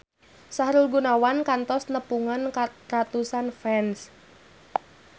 Sahrul Gunawan kantos nepungan ratusan fans